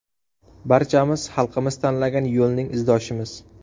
Barchamiz xalqimiz tanlagan yo‘lning izdoshimiz.